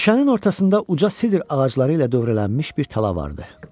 Meşənin ortasında uca sidr ağacları ilə dövrələnmiş bir tala vardı.